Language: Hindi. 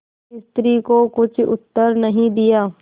स्त्री को कुछ उत्तर नहीं दिया